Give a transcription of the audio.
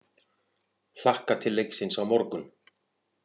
Hlakka til leiksins á morgun.